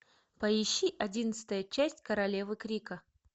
поищи одиннадцатая часть королевы крика